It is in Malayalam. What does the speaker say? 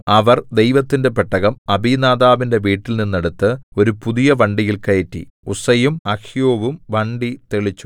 അവർ ദൈവത്തിന്റെ പെട്ടകം അബീനാദാബിന്റെ വീട്ടിൽനിന്നെടുത്ത് ഒരു പുതിയ വണ്ടിയിൽ കയറ്റി ഉസ്സയും അഹ്യോവും വണ്ടി തെളിച്ചു